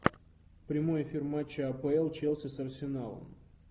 прямой эфир матча апл челси с арсеналом